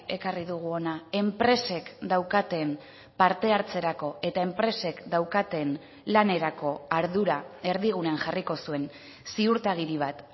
ekarri dugu hona enpresek daukaten parte hartzerako eta enpresek daukaten lanerako ardura erdigunean jarriko zuen ziurtagiri bat